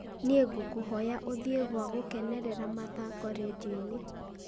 nĩ ngũkũhoya ũthiĩ gwa gũkenera mathaako rĩndiũ-inĩ